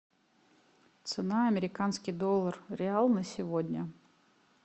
цена американский доллар реал на сегодня